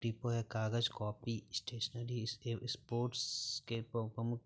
book depot है कागज़ copy stationery स्टे- स्पोर्ट्स के